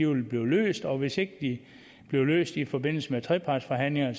vil blive løst og hvis ikke de bliver løst i forbindelse med trepartsforhandlingerne